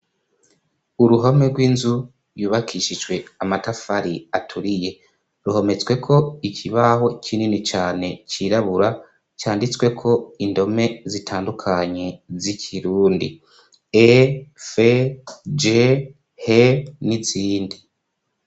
Uruhome rw'inzu yubakishijwe amatafari aturiye ruhometsweko ikibaho kinini cane cirabura canditswe ko indome zitandukanye z'ikirundi e fe je he n'izindi.